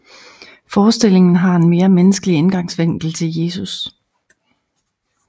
Forestillingen har en mere menneskelig indgangsvinkel til Jesus